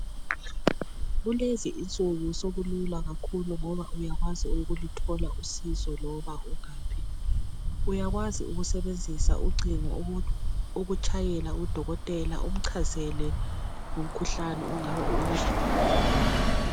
Kulezi insuku sokulula kakhulu ngoba uyakwazi ukuluthola usizo loba ungaphi. Uyakwazi ukusebenzisa ucingo ukutshayela udokotela umchazele ngomkhuhlane ongabe uwuzwa emzimbeni wakho.